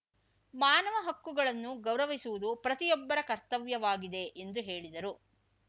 ಮಾನವ ಹಕ್ಕುಗಳನ್ನು ಗೌರವಿಸುವುದು ಪ್ರತಿಯೊಬ್ಬರ ಕರ್ತವ್ಯವಾಗಿದೆ ಎಂದು ಹೇಳಿದರು